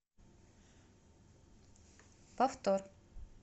повтор